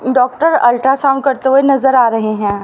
Doctor ultrasound करते हुए नजर आ रहे हैं।